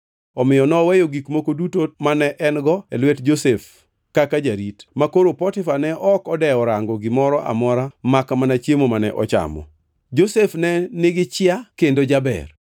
Omiyo noweyo gik moko duto mane en-go e lwet Josef kaka jarit; makoro Potifa ne ok odewo rango gimoro amora makmana chiemo mane ochamo. Josef ne nigi chia kendo jaber.